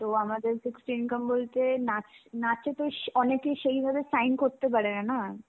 তো আমাদের fixed income বলতে নাচ~ নাচেতো সে~ অনেকে সেই ভাবে shine করতে পারেনা না.